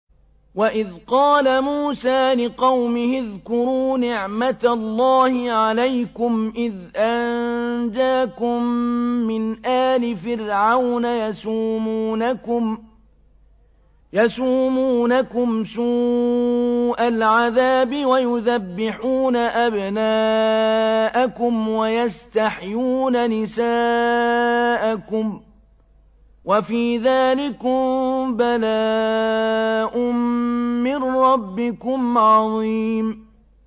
وَإِذْ قَالَ مُوسَىٰ لِقَوْمِهِ اذْكُرُوا نِعْمَةَ اللَّهِ عَلَيْكُمْ إِذْ أَنجَاكُم مِّنْ آلِ فِرْعَوْنَ يَسُومُونَكُمْ سُوءَ الْعَذَابِ وَيُذَبِّحُونَ أَبْنَاءَكُمْ وَيَسْتَحْيُونَ نِسَاءَكُمْ ۚ وَفِي ذَٰلِكُم بَلَاءٌ مِّن رَّبِّكُمْ عَظِيمٌ